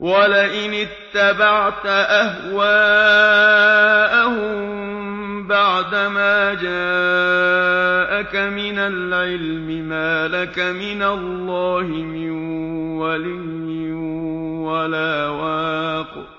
وَلَئِنِ اتَّبَعْتَ أَهْوَاءَهُم بَعْدَمَا جَاءَكَ مِنَ الْعِلْمِ مَا لَكَ مِنَ اللَّهِ مِن وَلِيٍّ وَلَا وَاقٍ